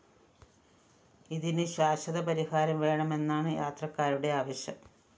ഇതിന് ശാശ്വതപരിഹാരം വേണമെന്നാണ് യാത്രക്കാരുടെ ആവശ്യം